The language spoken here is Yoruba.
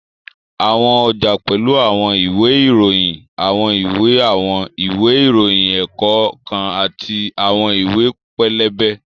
Àwọn ọjà pẹ́lú àwọn ìwé ìròyìn, àwọn ìwé àwọn ìwé ìròyìn ẹ̀kọ́ kan àti àwọn ìwé pẹlẹbẹ